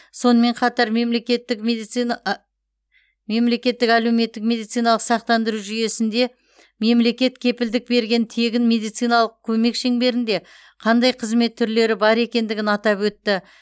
сонымен қатар мемлекеттік медицина мемлекеттік әлеуметтік медициналық сақтандыру жүйесінде мемлекет кепілдік берген тегін медициналық көмек шеңберінде қандай қызмет түрлері бар екендігін атап өтті